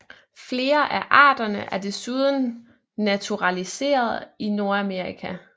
Flere af arterne er desuden naturaliseret i Nordamerika